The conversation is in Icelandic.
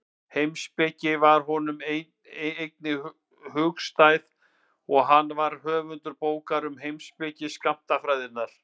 Heimspeki var honum einnig hugstæð og hann var höfundur bókar um heimspeki skammtafræðinnar.